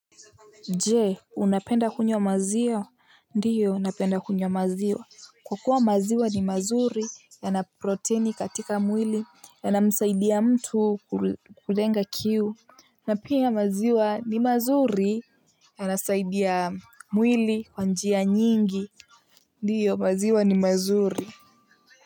Jee, unapenda kunywa maziwa? Ndiyo, unapenda kunyo maziwa. Kwa kuwa maziwa ni mazuri, ya na proteini katika mwili, ya na msaidiya mtu kulenga kiu. Na pia maziwa ni mazuri, yanasaidia mwili kwanjia nyingi. Ndiyo, maziwa ni mazuri.